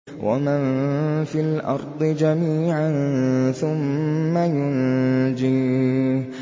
وَمَن فِي الْأَرْضِ جَمِيعًا ثُمَّ يُنجِيهِ